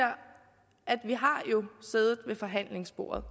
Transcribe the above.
siddet ved forhandlingsbordet og